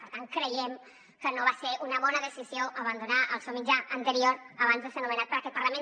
per tant creiem que no va ser una bona decisió abandonar el seu mitjà anterior abans de ser nomenat per aquest parlament